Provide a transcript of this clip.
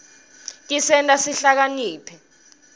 tisenta sihlakaniphe